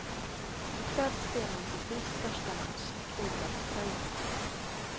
I kväll spelar han sitt livs största match i klubblagströja.